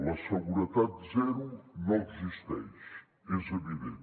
la seguretat zero no existeix és evident